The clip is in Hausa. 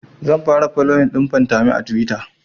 zan fara foloyin ɗin fantami a tuwita